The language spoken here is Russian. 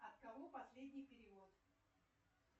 от кого последний перевод